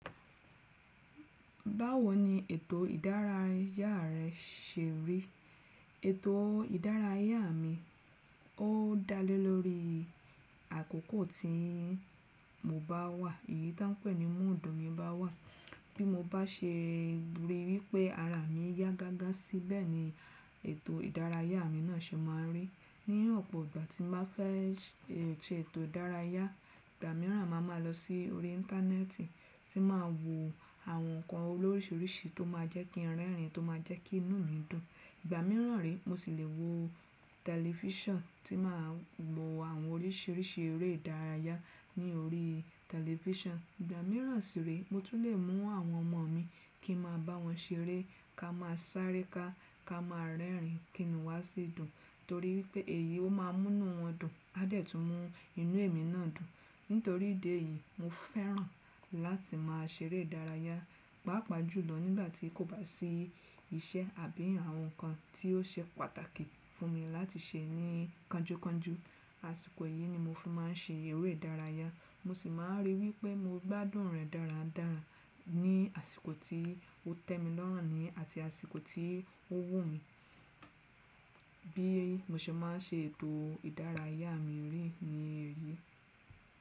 Báwo ni ètò ìdárayá rẹ se rí? Ètò ìdárayá mi, ó dalé lórí àkókò tí mo bá wà. Èyí tá ń pè ní mọ́ọ̀dù mi bá wà. Bí mo bá se rí wípẹ́ ara mi yá gágá síbẹ̀ ni ètò ìdárayá mi náà se máa rí. Ní ọ̀pọ̀ ìgbà tí mo bá fẹ́ se ètò ìdárayá, ìgbà mìíràn ma ma lọ sí orí íńtánẹ́ẹ̀tì, tí màá wo àwọn nǹkan olóríṣìíríṣìí tó má jẹ́ kí n rẹ́rìn-ín, tó ma jẹ́ kí inú mi dùn. Ìgbà mìíràn re, mo sì le wo tẹ̀lifísàn tí màá wo àwọn oríṣìíríṣìí eré ìdárayá ní orí tẹ̀lifísàn. Ìgbà mìíràn sì re, mo tún le mú àwọn ọmọ mi kí n máa bá wọn ṣeré, ká máa sáré ká, ká máa rẹ́rìn-ín kí inú wa sì dùn torí wípé èyí ó máa mú inú wọn dùn, á dẹ̀ tún mú inú èmi náà dùn. Nítorí ìdí èyí, mo fẹ́ràn láti máa ṣeré ìdárayá, pàápàá jùlọ nígbà tí kò bá sí iṣẹ́ àbí àwọn nǹkan tí ó ṣe pàtàkì fún mi láti ṣe ní kánjúkánjú a Àsìkò yìí ni mo fún màá ṣe eré ìdárayá, mo sì máa rí wípé mo gbádùn rẹ̀ dáradára ní àsìkò tí ó tẹ́ mi lọ́ràn ní àti àsìkò tí ó wù mí. Bí mo ṣe máa ń ṣe ètò ìdárayá mi rí ni èyí.